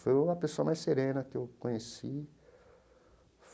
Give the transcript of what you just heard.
Foi uma pessoa mais serena que eu conheci.